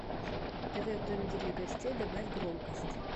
тв в домике для гостей добавь громкость